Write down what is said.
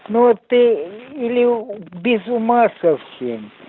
но ты или без ума совсем